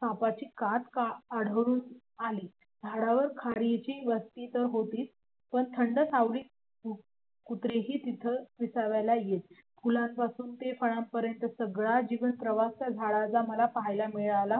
फुलांपासून ते फळापर्यंतचा सगळा जीवनप्रवास त्या झाडाचा मला पाहायला मिळाला